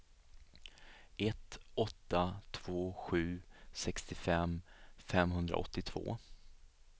ett åtta två sju sextiofem femhundraåttiotvå